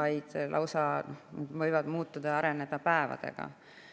vaid need võivad muutuda ja areneda lausa päevadega.